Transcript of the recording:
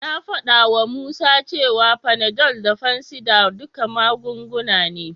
Na faɗawa Musa cewa Panadol da fansidar duka magunguna ne.